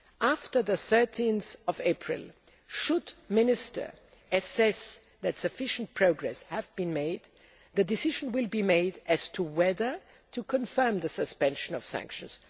After 13 April, should ministers assess that sufficient progress has been made, the decision will be made as to whether to confirm the suspension of sanctions.